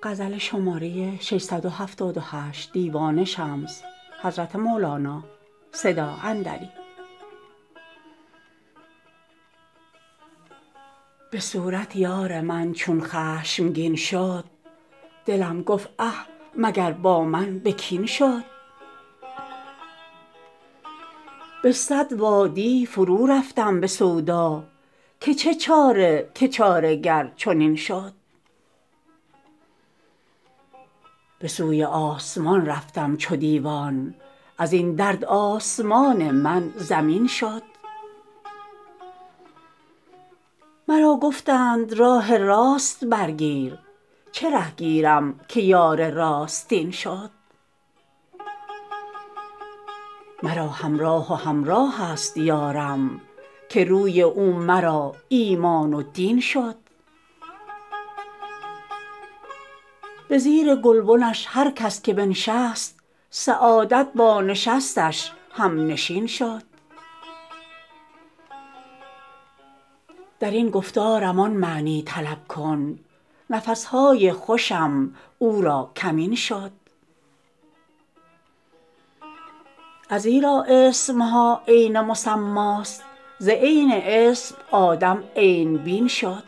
به صورت یار من چون خشمگین شد دلم گفت اه مگر با من به کین شد به صد وادی فرورفتم به سودا که چه چاره که چاره گر چنین شد به سوی آسمان رفتم چو دیوان از این درد آسمان من زمین شد مرا گفتند راه راست برگیر چه ره گیرم که یار راستین شد مرا هم راه و همراهست یارم که روی او مرا ایمان و دین شد به زیر گلبنش هر کس که بنشست سعادت با نشستش همنشین شد در این گفتارم آن معنی طلب کن نفس های خوشم او را کمین شد ازیرا اسم ها عین مسماست ز عین اسم آدم عین بین شد